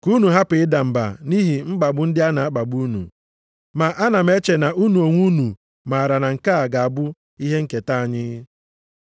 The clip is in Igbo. Ka unu hapụ ịda mba nʼihi mkpagbu ndị a a na-akpagbu unu. Ma ana m eche na unu onwe unu maara na nke a ga-abụ ihe nketa anyị.